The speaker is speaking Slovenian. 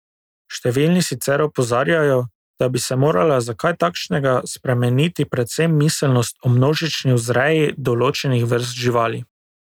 Številni sicer opozarjajo, da bi se morala za kaj takšnega spremeniti predvsem miselnost o množični vzreji določenih vrst živali.